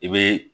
I be